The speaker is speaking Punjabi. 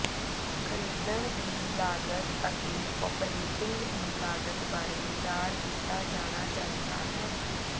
ਖਰੀਦਣ ਦੀ ਲਾਗਤ ਅਤੇ ਓਪਰੇਟਿੰਗ ਦੀ ਲਾਗਤ ਬਾਰੇ ਵਿਚਾਰ ਕੀਤਾ ਜਾਣਾ ਚਾਹੀਦਾ ਹੈ